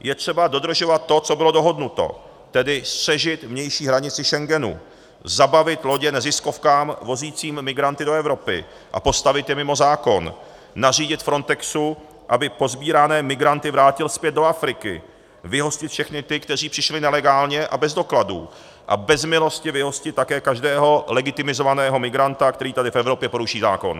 Je třeba dodržovat to, co bylo dohodnuto, tedy střežit vnější hranici Schengenu, zabavit lodě neziskovkám vozícím migranty do Evropy a postavit je mimo zákon, nařídit Frontexu, aby posbírané migranty vrátil zpět do Afriky, vyhostit všechny ty, kteří přišli nelegálně a bez dokladů, a bez milosti vyhostit také každého legitimizovaného migranta, který tady v Evropě poruší zákon.